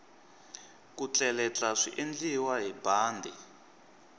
ku tleletla swiendliwa hi bandi